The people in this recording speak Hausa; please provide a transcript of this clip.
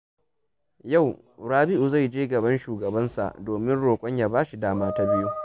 Yau, Rabi’u zai je gaban shugabansa domin roƙon ya ba shi dama ta biyu.